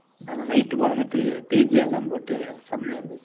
நாங்க night போனோம் dj எல்லாம் போட்டு செமையா இருந்துச்சு.